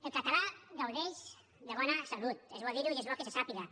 el català gaudeix de bona salut és bo dir ho i és bo que se sàpiga